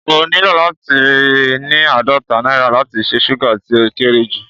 O nílò láti ní àádọ́ta náírà láti ra súgà ti o kéré ju